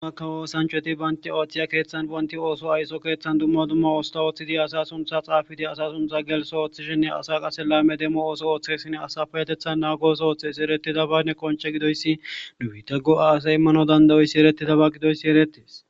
Dummakka woosancheti baanti oothchiya keeththan bonti ooso ayso keeththan dumma duma oosta ooththidi asa suntha xaafidi asa suntha gelso ooththishenne asa qase laame demo ooso ooththesin asafayetethan naagooso ooththeesi eretidaba ne qonce gidoyssi duita go7a asay immano dandayoyssi eretizaba gidoyssi eretis.